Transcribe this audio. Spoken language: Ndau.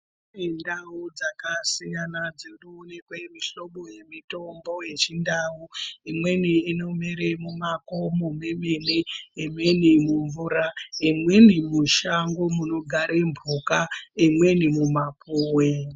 Kune ndau dzakasiyana dzinoonekwe mihlobo yemutombo yechindau. Imweni inomere mumakomo mwemene, imweni mumvura. Imweni mushango munogare mbuka, imweni mumapuwe.